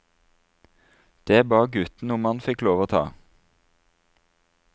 Det ba gutten om han fikk lov til å ta.